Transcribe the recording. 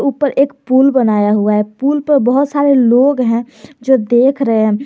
ऊपर एक पुल बनाया हुआ है पुल पे बहुत सारे लोग हैं जो देख रहे हैं।